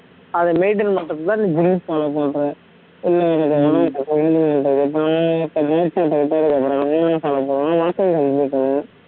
அதை maintain பண்றதுக்குதான் நீ gym follow பண்ற